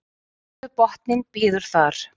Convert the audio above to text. niður við botninn bíður þar